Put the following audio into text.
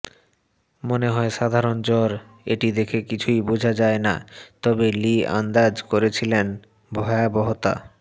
মনে হয় সাধারণ জ্বর এটি দেখে কিছুই বোঝা যায় না তবে লি আন্দাজ করেছিলেন ভয়াবহতা